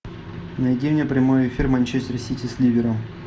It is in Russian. найди мне прямой эфир манчестер сити с ливером